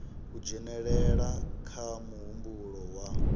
u dzhenelela kha muhumbulo wa